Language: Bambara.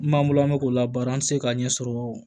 N b'an bolo an mɛ k'o la baara an ti se k'a ɲɛ sɔrɔ